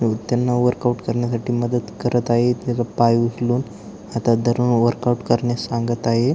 त्यांना वर्कआउट करण्यासाठी मदत करत आहेत त्याचा पाय उचलून हातात धरून वर्कआउट करण्यास सांगत आहे.